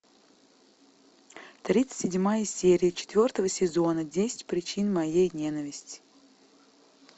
тридцать седьмая серия четвертого сезона десять причин моей ненависти